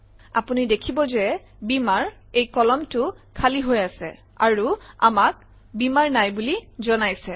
আপুনি দেখিব যে Beamer - এই কলমটো খালী হৈ আছে - আৰু আমাক বীমাৰ নাই বুলি জনাইছে